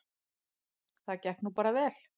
Það gekk nú bara vel.